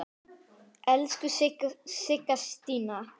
Elsku Sigga Stína.